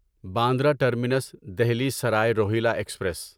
Bandra terminus Delhi Sarai Rohilla express